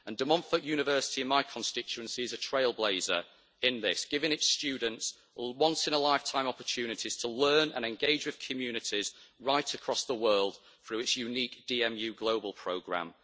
De Montfort University in my constituency is a trailblazer in this, giving its students once in a lifetime opportunities to learn and engage with communities right across the world through its unique DMU Global programme.